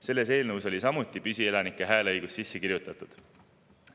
Sellesse eelnõusse oli samuti püsielanike hääleõigus sisse kirjutatud.